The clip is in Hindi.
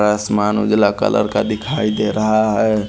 आसमान उजला कलर का दिखाई दे रहा है।